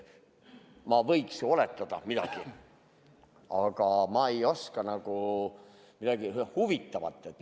Ma võiks miskit oletada, aga ma ei oska praegu midagi huvitavat rääkida.